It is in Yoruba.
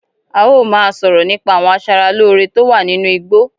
Áà ó máa sọ̀rọ̀ nípa àwọn asára lòo rè tó wà nínú igbó.